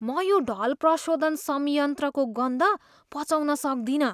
म यो ढल प्रशोधन संयन्त्रको गन्ध पचाउन सक्दिनँ।